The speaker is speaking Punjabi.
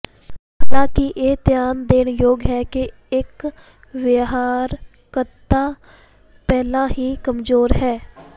ਹਾਲਾਂਕਿ ਇਹ ਧਿਆਨ ਦੇਣ ਯੋਗ ਹੈ ਕਿ ਇਕ ਵਿਹਾਰਕਤਾ ਪਹਿਲਾਂ ਹੀ ਕਮਜ਼ੋਰ ਹੈ